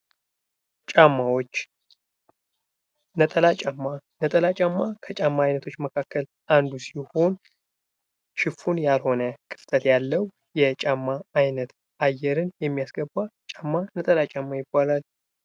ጫማዎች ነጠላ ጫማ:- ነጠላ ጫማ ከጫማ አይነቶች መካከል አንዱ ሲሆን ሽፉን ያልሆነ ክፍተት ያለዉ የጫማ አይነት አየርን የሚያስገባ ጫማ ነጠላ ጫማ ይባላል።